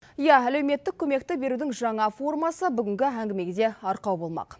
иә әлеуметтік көмекті берудің жаңа формасы бүгінгі әңгімеге арқау болмақ